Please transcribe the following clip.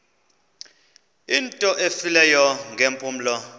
into efileyo ngeempumlo